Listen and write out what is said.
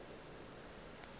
le ge ke sa tsebe